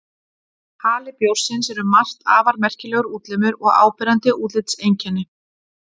Hali bjórsins er um margt afar merkilegur útlimur og áberandi útlitseinkenni.